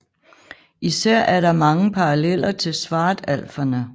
Især er der mange paralleller til svartalferne